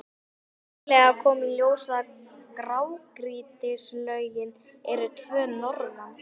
Nýlega kom í ljós að grágrýtislögin eru tvö norðan